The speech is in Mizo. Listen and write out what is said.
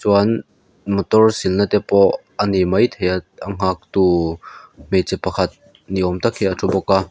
chuan motor sil na te pawh ani maithei a a nghak tu hmeichhe pakhat ni awm tak hi a thu bawk a.